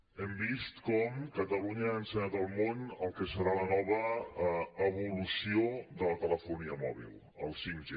hem vist com catalunya ha ensenyat al món el que serà la nova evolució de la telefonia mòbil el 5g